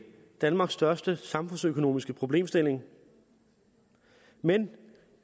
danmarks største samfundsøkonomiske problemstilling men